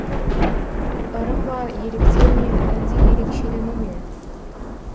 ырым ба еліктеу ме әлде ерекшелену ме